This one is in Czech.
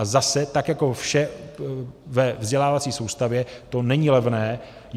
A zase tak jako vše ve vzdělávací soustavě to není levné.